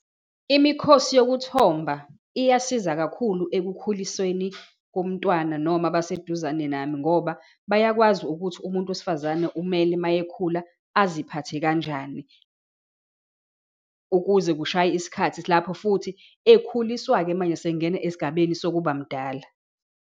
Imikhosi yokuthomba iyasiza kakhulu ekukhulisweni komntwana, noma abaseduzane nami ngoba bayakwazi ukuthi umuntu wesifazane umele uma ekhuluma aziphathe kanjani, ukuze kushaye isikhathi lapho futhi ekhuliswa-ke manje esengena esigabeni sokubamdala.